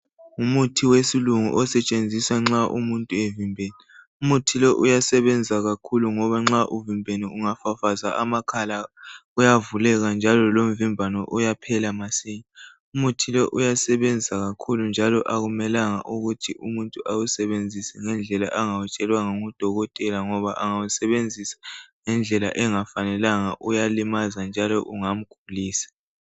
Umuthi wesilungu osetshenziswa nxa umuntu evimbene. Umuthi lowu uyasebenza kakhulu ngoba nxa uvimbene ungafafaza amakhala uyavuleka njalo lomvimbano uyaphela masinya. Umuthi lo uyasebenza kakhulu njalo akumelanga ukuthi umuntu awusebenzise ngendlela angawutshelwanga ngudokotela ngoba angawusebenzisa ngendlela engafanelanga uyalimaza njalo ungamgulisa.